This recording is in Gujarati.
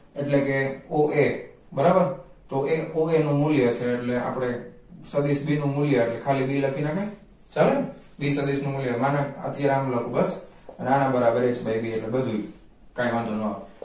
એટલે કે o a બરાબર તો એ o a નું મૂલ્ય છે એટલે આપણે સદિશ b નું મૂલ્ય એટલે ખાલી b લખી નાખીયે ચાલે ને b સદિશ નું મૂલ્ય મનારા થી આમ લખું બસ અને આના બરાબર h by બે બ b કાંઈ વાંધો ન આવે